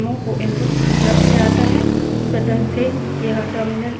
input streams programs को input उपलब्ध करता है